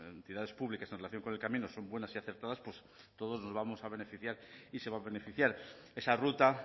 entidades públicas en relación con el camino son buenas y acertadas todos nos vamos a beneficiar y se va a beneficiar esa ruta